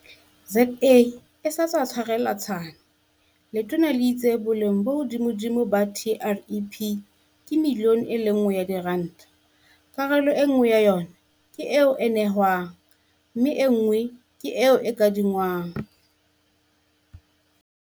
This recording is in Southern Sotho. ZA se sa tswa tshwarelwa Tshwane, letona le itse boleng bo hodimodimo ba TREP ke miliyone e le nngwe ya diranta, karolo enngwe ya yona ke eo e fiwang mme enngwe ke eo e kadingwang.